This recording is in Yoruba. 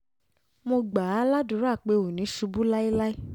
mo gbà á ládùúrà pé o ò ní ṣubú láéláé